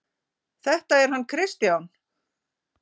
Þetta er hann Kristján.